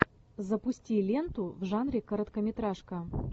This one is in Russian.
запусти ленту в жанре короткометражка